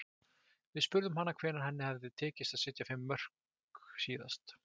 Við spurðum hana hvenær henni hefði tekist að setja fimm mörk síðast.